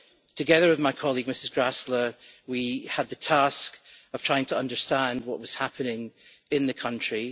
Together with my colleague Ms Gräßle, we had the task of trying to understand what was happening in the country.